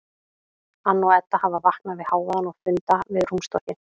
Anna og Edda hafa vaknað við hávaðann og funda við rúmstokkinn.